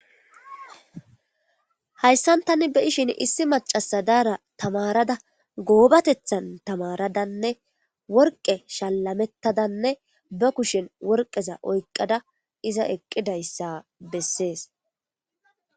hayssantani be ishin issi macasadaara tamarada goobatethan tamaradanne worqe shallamettadanne ba kushen worqeza oyqqada iza eqqidayssa bessees